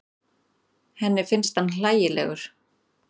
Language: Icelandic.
Henni finnst hann hlægilegur.